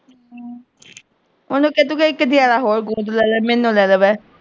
ਉਹਨੂੰ ਕਹਿ ਤੂੰ ਇਕ ਜਣਾ ਹੋਰ ਗੋਦ ਲੈ ਲੈ, ਮੈਨੂੰ ਲੈ ਲੈ ਕਹਿ।